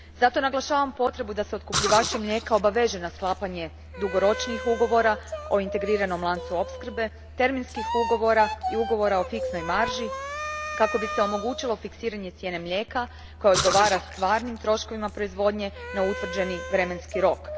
Zato naglašavam potrebu da se otkupljivače mlijeka obaveže na sklapanje dugoročnijih ugovora o integriranom lancu opskrbe, terminskih ugovora i ugovora o fiksnoj marži, kako bi se omogućilo fiksiranje cijene mlijeka koja odgovara stvarnim troškovima proizvodnje na utvrđeni vremenski rok.